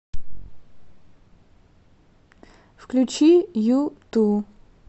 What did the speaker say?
включи юту